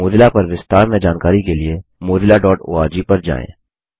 Mozilla पर विस्तार में जानकारी के लिए mozillaओआरजी पर जाएँ